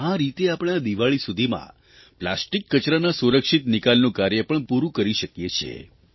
આ રીત આપણે આ દિવાળી સુધીમાં પ્લાસ્ટીક કચરાના સુરક્ષિત નિકાલનું કાર્ય પણ પૂરૂં કરી શકીએ છીએ